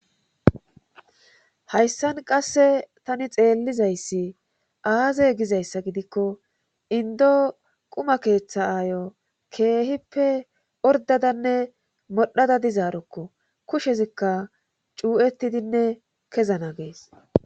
hayssan qasse tani xeellizayssi aaze gizayssa gidikko indo quma keeththa aayo keehippe ordadanne modhada dizaarokko. kushezikka cuu'ettidinne kezana gees.